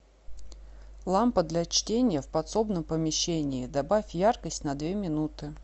лампа для чтения в подсобном помещении добавь яркость на две минуты